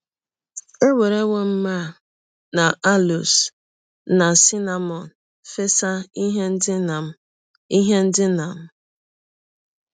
Ewerewọ m myrrh na aloes na cinnamọn fesa ihe ndina m ihe ndina m. ”